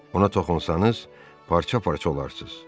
Ona toxunsanız, parça-parça olarsız.